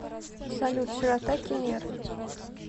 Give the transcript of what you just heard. салют широта кемер